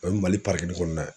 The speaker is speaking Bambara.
O ye Mali kɔɔna ye.